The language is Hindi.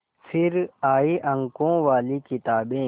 फिर आई अंकों वाली किताबें